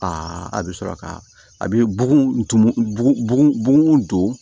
a bɛ sɔrɔ ka a bɛ bugun tumugu don